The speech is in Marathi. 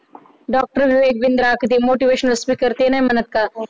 doctor ते बिंद्रा ते motivational speaker ते नाही म्हणत का